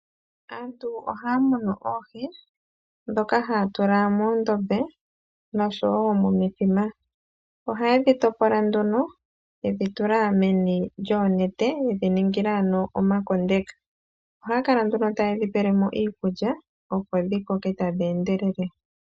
Aantu ohaa munu oohi dhoka haatula muundombe noshowo momithima, ohaye dhi topola nduno yedhi tula meni lyoonete yedhi ningila ano omakondeka, ohaa kala nduno taye dhi pele mo iikulya opo dhi koke tadhi endelele.